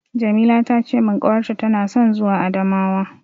Jamila ta ce min ƙawarta tana son zuwa Adamawa.